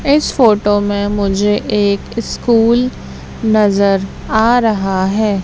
इस फोटो में मुझे एक स्कूल नजर आ रहा है।